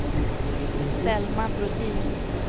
Selma Brodin